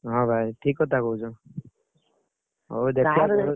ହଁ ଭାଇ ଠିକ୍ କଥା କହୁଛ। ହଉ ଦେଖିଆ ।